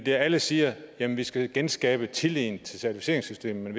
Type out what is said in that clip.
er alle siger at vi skal genskabe tilliden til certificeringssystemet